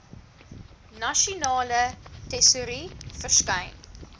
nasionale tesourie verskyn